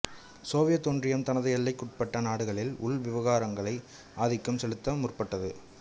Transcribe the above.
Soviet ஒன்றியம் தனது எல்லைக்கு உட்பட்ட நாடுகளின் உள் விவகாரங்களை ஆதிக்கம் செலுத்த முற்பட்டது